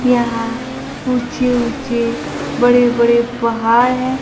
यहां ऊंचे ऊंचे बड़े बड़े पहाड़ है।